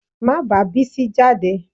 Má bá Bísí jáde